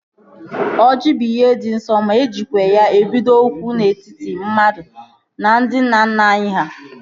Oji bụ ihe dị nsọ ma ejikwa ya ebido okwu dị n'etiti mmadụ na ndị nna nna anyị ha